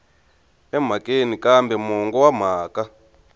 emhakeni kambe mongo wa mhaka